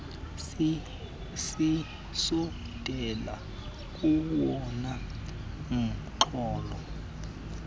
sisondela kowona mxholo